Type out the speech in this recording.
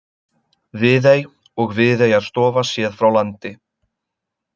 Viðey og Viðeyjarstofa séð frá landi.